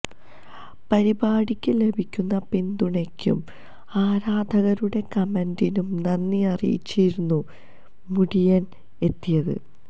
പരിപാടിക്ക് ലഭിക്കുന്ന പിന്തുണയ്ക്കും ആരാധകരുടെ കമന്റിനും നന്ദി അറിയിച്ചായിരുന്നു മുടിയന് എത്തിയത്